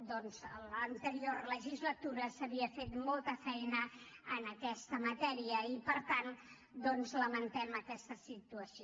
doncs a l’anterior legislatura s’havia fet molta feina en aquesta matèria i per tant lamentem aquesta situació